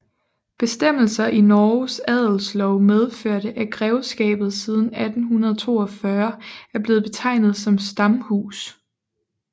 Bestemmelser i Norges adelslov medførte at grevskabet siden 1842 er blevet betegnet som stamhus